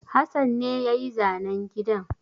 Hassan ne ya yi zanen gidan.